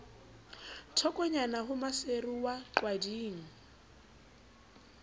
thokonyana ho maseru wa qwading